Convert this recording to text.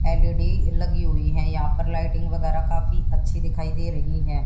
L E D लगी हुई हैं यहां पर लाइटिंग वगैरह काफी अच्छी दिखाई दे रही हैं।